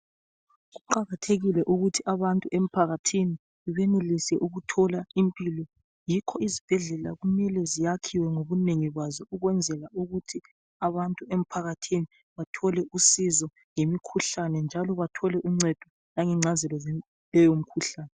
Kuqakathekile ukuthi abantu emphakathini benelise ukuthola impilo yikho izibhedlela kumele ziyakhiwe ngobunengi bazo ukwenzela ukuthi abantu emphakathini bathole usizo ngemikhuhlane. Njalo bathole uncedo langengcazelo zaleyo mikhuhlane .